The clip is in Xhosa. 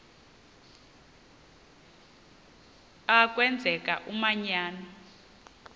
a kwenzeka umanyano